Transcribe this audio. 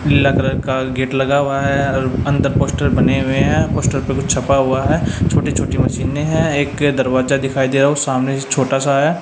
पीला कलर का गेट लगा हुआ है और अंदर पोस्टर बने हुए हैं पोस्टर पे कुछ छपा हुआ है छोटी छोटी मशीने हैं एक दरवाजा दिखाई दे रहा है वो सामने से छोटा सा है।